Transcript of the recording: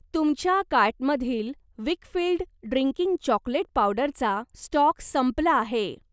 तुमच्या कार्टमधील Weikfield drinking chocolate पावडरचा स्टॉक संपला आहे.